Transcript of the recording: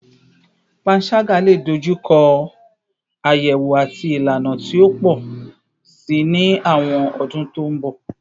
Panṣaga le dojuko ayewo ati ilana ti o pọ si ni awọn ọdun to n bọ